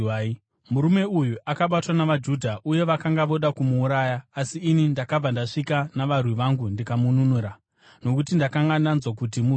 Murume uyu akabatwa navaJudha uye vakanga voda kumuuraya, asi ini ndakabva ndasvika navarwi vangu ndikamununura, nokuti ndakanga ndanzwa kuti muRoma.